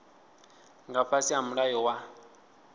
nga fhasi ha mulayo wa